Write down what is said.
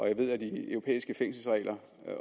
jeg ved at de europæiske fængselsregler